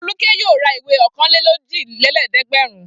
Folúkẹ́ yóò ra ìwé ọ̀kanlélójìlélẹ́ẹ̀dẹ́gbẹ̀rún.